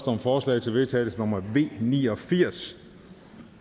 om forslag til vedtagelse nummer v ni og firs